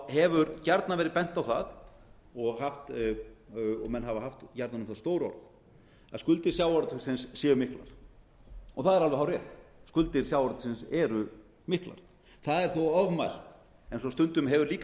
hefur gjarnan verið bent á það og menn hafa haft jafnvel stór orð að skuldir sjávarútvegsins séu miklar það er alveg hárrétt skuldir sjávarútvegsins eru miklar það er þó ofmælt eins og stundum hefur líka verið